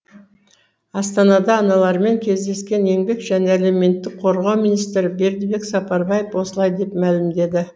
астанада аналармен кездескен еңбек және әлеуметтік қорғау министрі бердібек сапарбаев осылай деп мәлімдеді